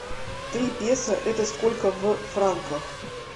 три песо это сколько в франках